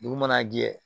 Dugu mana jɛ